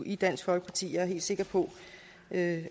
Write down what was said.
i dansk folkeparti og helt sikre på at